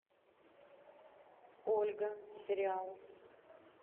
ольга сериал